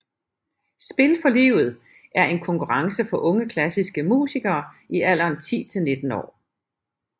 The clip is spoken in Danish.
Spil for livet er en konkurrence for unge klassike musikere i alderen 10 til 19 år